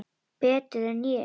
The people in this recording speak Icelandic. Betur en ég?